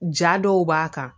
Ja dɔw b'a kan